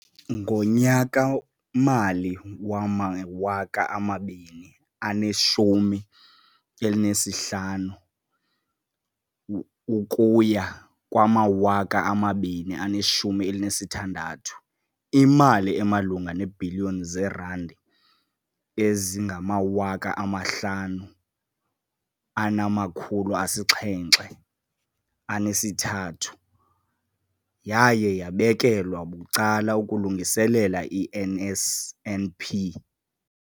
Ngonyaka-mali wama-2015, 16, imali emalunga neebhiliyoni zeerandi eziyi-5 703 yaye yabekelwa bucala ukulungiselela i-NSNP.